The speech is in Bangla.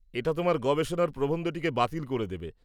এটা তোমার গবেষণার প্রবন্ধটিকে বাতিল করে দেবে।